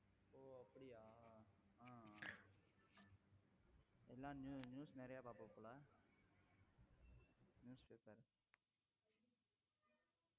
ஓ அப்படியா ஆஹ் எல்லாம் news நிறைய பார்ப்பே போல news papper